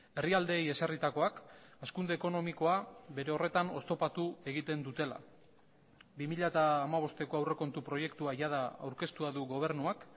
herrialdeei ezarritakoak hazkunde ekonomikoa bere horretan oztopatu egiten dutela bi mila hamabosteko aurrekontu proiektua jada aurkeztua du gobernuak